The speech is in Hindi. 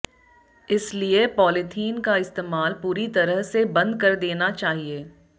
इसलिए पॉलिथीन का इस्तेमाल पूरी तरह से बंद कर देना चाहिए